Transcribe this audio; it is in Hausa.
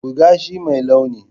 Buga shi mai launi.